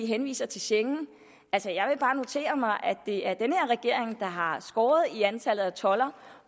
henviser til schengen altså jeg vil bare notere mig at det er den her regering der har skåret i antallet af toldere